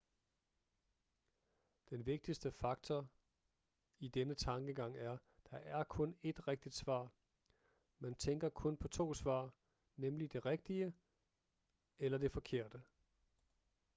den vigtigste faktor i denne tankegang er der er kun ét rigtigt svar man tænker kun på to svar nemlig det rigtige eller det forkerte